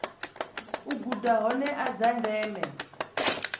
a guda hoea dza ndeme